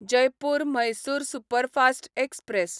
Jaipur Mysore superfast express